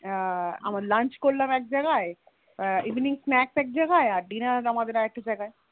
আবার Lunch করলাম এক জায়গায় Evening snacks এক জায়গায় আবার Dinner তা আরেকটা জায়গায়